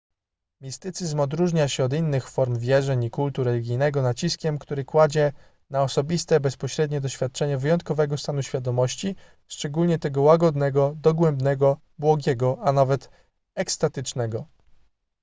mistycyzm odróżnia się od innych form wierzeń i kultu religijnego naciskiem który kładzie na osobiste bezpośrednie doświadczanie wyjątkowego stanu świadomości szczególnie tego łagodnego dogłębnego błogiego a nawet ekstatycznego